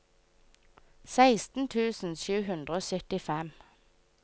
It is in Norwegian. seksten tusen sju hundre og syttifem